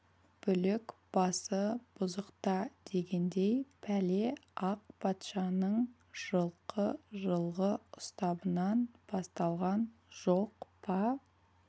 бүлік басы бұзықта дегендей пәле ақ патшаның жылқы жылғы ұстабынан басталған жоқ па